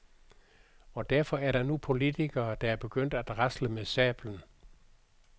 Og derfor er der nu politikere, der er begyndt at rasle med sablen.